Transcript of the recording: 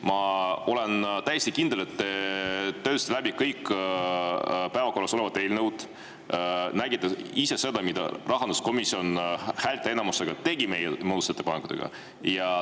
Ma olen täiesti kindel, et te töötasite läbi kõik päevakorras olevad eelnõud ja nägite, mida rahanduskomisjon häälteenamusega tegi meie muudatusettepanekutega.